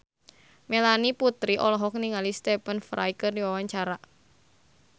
Melanie Putri olohok ningali Stephen Fry keur diwawancara